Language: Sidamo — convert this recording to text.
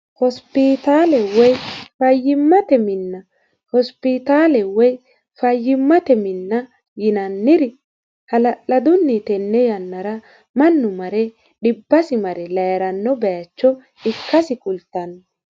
hospiitaale woy fayyimmate mini hosipitaale woy fayyimmate minna yinanniri hala'ladunni tenne yannara mannu mare dhibbasi mare layiranno baacho ikkasi kultanno